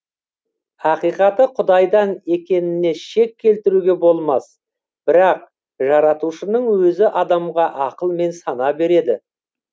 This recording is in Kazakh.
ақиқаты құдайдан екеніне шек келтіруге болмас бірақ жаратушының өзі адамға ақыл мен сана береді